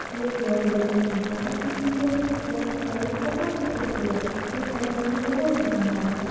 ये फ्रॉक देखने मे बहुत ही सुंदर है फ्रॉक कलर बहुत ही खूबसूरत है ये फ्रॉक मुझे बहुत पसंद आया।